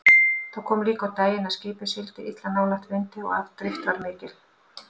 Það kom líka á daginn að skipið sigldi illa nálægt vindi og afdrift var mikil.